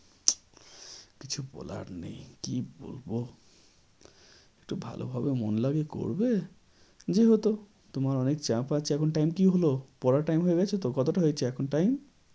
কিছু বলার নেই কি বলবো একটু ভালো ভাবে মন লাগিয়ে করবে যেহেতু তোমার অনেক চাপ আছে এখন time কি হলো? পড়ার time হয়ে গেছে তো? কতটা হয়েছে এখন time